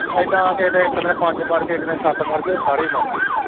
ਏਦਾਂ ਕਿਤੇ ਇੱਕ ਦਿਨ ਪੰਜ ਮਰ ਗਏ, ਇੱਕ ਦਿਨ ਸੱਤ ਮਰ ਗਏ ਉਹ ਸਾਰੇ ਹੀ ਮਰ ਗਏ।